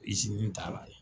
Izinuw t'ala la